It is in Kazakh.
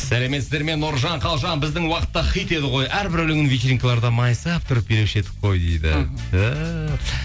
сәлеметсіздер ме нұржан қалжан біздің уақытта хит еді ғой әрбір өлеңіне вечеринкаларда майысып тұрып билеуші едік қой дейді ыхы түһ